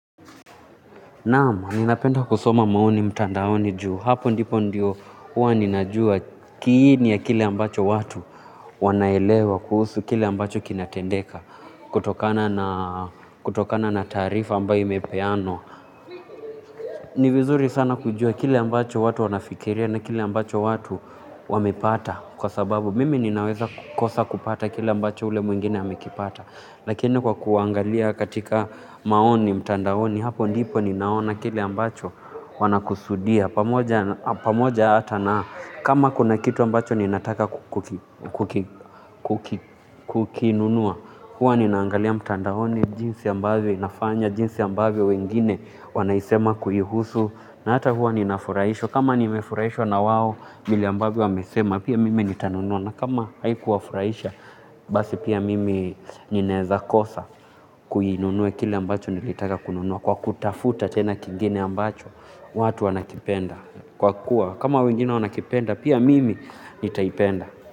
Naam, ninapenda kusoma maoni mtandaoni juu. Hapo ndipo ndiyo huwa ninajua kiini ya kile ambacho watu wanaelewa kuhusu kile ambacho kinatendeka. Kutokana na taarifa ambayo imepeanwa. Ni vizuri sana kujua kile ambacho watu wanafikiria na kile ambacho watu wamepata. Kwa sababu mimi ninaweza kukosa kupata kile ambacho ule mwingine amekipata. Lakini kwa kuangalia katika maoni mtandaoni hapo ndipo ninaona kile ambacho wanakusudia pamoja hata na kama kuna kitu ambacho ninataka kukinunua huwa ninaangalia mtandaoni jinsi ambavyo inafanya jinsi ambavyo wengine wanaisema kuihusu na hata huwa ninafurahishwa kama nimefurahishwa na wao vile ambavyo wamesema pia mimi nitanunua na kama haikuwafuraisha, basi pia mimi ninaeza kosa kuinunua kile ambacho nilitaka kununua. Kwa kutafuta tena kingine ambacho, watu wanakipenda. Kwa kuwa, kama wengine wanakipenda, pia mimi nitaipenda.